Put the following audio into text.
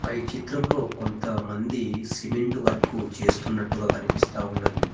ఈ చిత్రంలో కొంత మంది సిమెంటు వర్క్ చేస్తున్నట్టుగా కనిపిస్తా ఉన్నది.